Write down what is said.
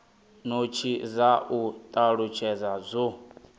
notsi dza u talutshedza zwo